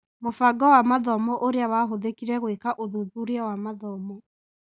Mũbango wa mathomo ũrĩa wahũthĩkire gũĩka ũthuthuria wa mathomo.